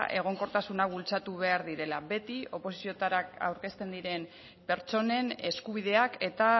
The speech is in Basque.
egonkortasuna bultzatu behar direla beti oposizioetara aurkezten diren pertsonen eskubideak eta